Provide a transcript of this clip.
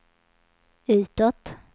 utåt